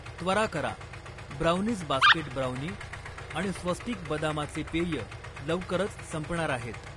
त्वरा करा, brownies basket brownie आणि स्वस्तिक बदामाचे पेय लवकरच संपणार आहेत.